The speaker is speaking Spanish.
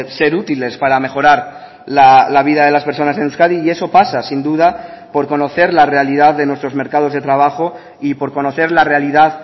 ser útiles para mejorar la vida de las personas en euskadi y eso pasa sin duda por conocer la realidad de nuestros mercados de trabajo y por conocer la realidad